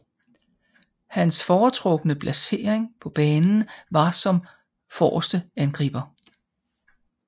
Hans foretrukne placering på banen var som forreste angriber